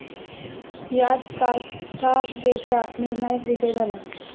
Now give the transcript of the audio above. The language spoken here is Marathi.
यात कार्थागेचा निर्णायक विजय झाला.